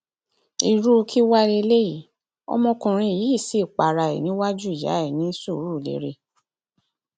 irú kí wàá lélẹyìí ọmọkùnrin yìí sì para ẹ níwájú ìyá ẹ ní surulere